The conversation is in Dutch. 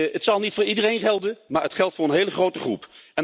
Dit zal niet voor iedereen gelden, maar het geldt voor een hele grote groep.